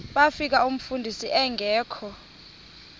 bafika umfundisi engekho